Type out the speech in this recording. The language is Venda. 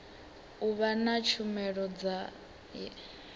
u vha na tshumelo ya